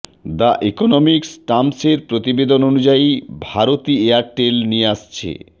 the economics টামসের প্রতিবেদন অনুযায়ী ভারতী এয়ারটেল নিয়ে আসছে